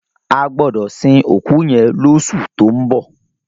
A gbọdọ sin òkú yẹn lọṣu tó ń bọ̀.